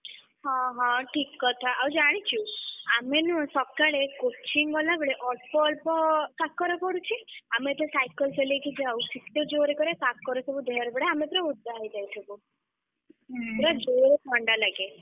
ହଁ ହଁ ଠିକ୍‌ କଥା ଆଉ ଜାଣିଛୁ ଆମେ ନୁହଁ ସକାଳେ coaching ଗଲାବେଳେ ଅଳ୍ପ ଅଳ୍ପ କାକର ପଡୁଛି ଆମେ ଯେତବେଳେ cycle ଚଳେଇକି ଯାଉ ଶୀତ ଜୋରେ କରେ କାକର ସବୁ ଦେହରେ ପଡେ ଆମେ ପୁରା ଓଦା ହେଇଯାଇଥିବୁ। ପୁରା ଜୋରେ ଥଣ୍ଡା ଲାଗେ।